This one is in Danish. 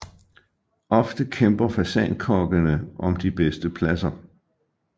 Ofte kæmper fasankokkene om de bedste pladser